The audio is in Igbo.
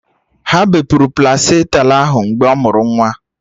Ha bepụrụ plasenta ahụ mgbe ọ mụrụ nwa